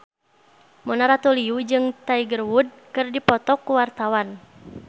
Mona Ratuliu jeung Tiger Wood keur dipoto ku wartawan